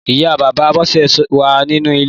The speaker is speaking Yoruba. Ìyá Bàbá Bose wà ninú ilé